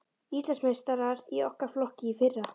Íslandsmeistarar í okkar flokki í fyrra.